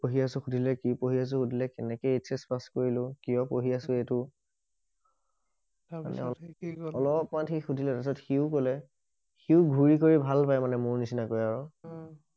পঢ়ি আছো সুধিলে কি পঢ়ি আছো সুধিলে কেনেকে এইচ এচ পাচ কৰিলো কিয় পঢ়ি আছো এইটো তাৰ পিছত সি কি কলে অলপ মান সি সুধিলে তাৰ পিছত সিও কলে সিও ঘূৰি কৰি ভাল পায় মানে মোৰ নিচিনাকৈ আৰু অ